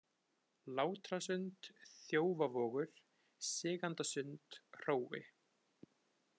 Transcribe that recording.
Látrasund, Þjófavogur, Sigandasund, Hrói